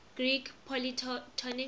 greek polytonic